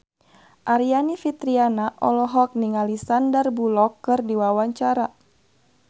Aryani Fitriana olohok ningali Sandar Bullock keur diwawancara